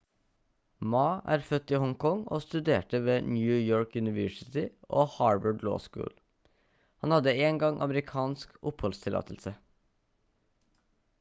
ma er født i hong kong og studerte ved new york university og harvard law school han hadde en gang amerikansk oppholdstillatelse